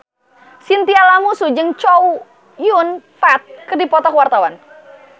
Chintya Lamusu jeung Chow Yun Fat keur dipoto ku wartawan